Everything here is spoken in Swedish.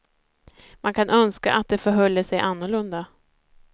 Man kan önska att det förhölle sig annorlunda.